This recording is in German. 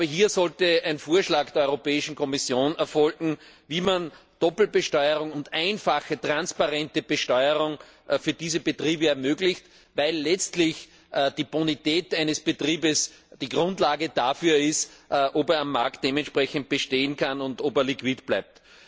Hier sollte ein Vorschlag der Europäischen Kommission erfolgen, wie man Doppelbesteuerung handhabt und eine einfache transparente Besteuerung für diese Betriebe ermöglicht, weil letztlich die Bonität eines Betriebes die Grundlage dafür ist, ob er am Markt dementsprechend bestehen kann und ob er liquide bleibt.